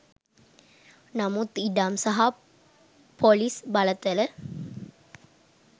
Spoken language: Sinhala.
නමුත් ඉඩම් සහ පොලිස් බලතල